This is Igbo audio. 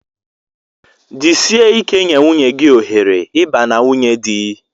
Jisie ike nye nwunye gị ohere ịba na nwunye di!